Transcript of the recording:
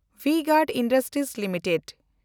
V-Guard industries limited